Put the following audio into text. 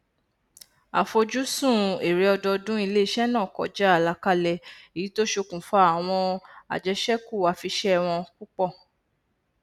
àfojúsùn èrè ọdọọdún iléiṣẹ náà kọjá àlàkalẹ èyí tó ṣokùnfà àwọn àjẹṣẹkù afiṣẹwọn púpọ